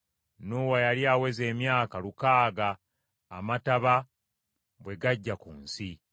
Nuuwa yali aweza emyaka lukaaga amataba bwe gajja ku nsi.